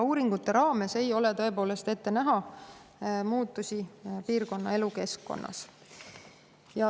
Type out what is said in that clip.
Uuringute põhjal tõepoolest ei ole ette näha muutusi piirkonna elukeskkonnas.